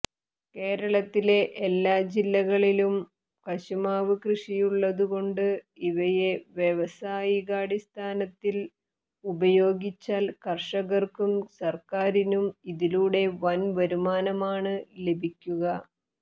കേരളത്തിലെ എല്ലാ ജില്ലകളിലും കശുമാവ് കൃഷിയുള്ളതു കൊണ്ട് ഇവയെ വ്യാവസായികാടിസ്ഥാനത്തിൽ ഉപയോഗിച്ചാൽ കർഷകർക്കും സർക്കാരിനും ഇതിലൂടെ വൻ വരുമാനമാണ് ലഭിക്കുക